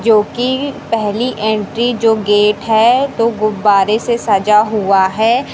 जोकि पहली एंट्री जो गेट हैं तो गुब्बारे से सजा हुआ है।